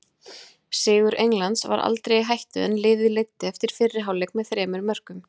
Sigur Englands var aldrei í hættu en liðið leiddi eftir fyrri hálfleik með þremur mörkum.